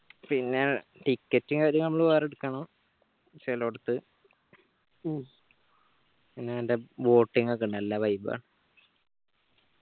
പിന്നെ ticket കാര്യങ്ങളൊക്കെ നമ്മൾ വേറെ എടുക്കണം ച്ചിലോടുത്തു ഉം പിന്നെ നല്ല boating ഒക്കെ ഇണ്ട് നല്ല vibe ആ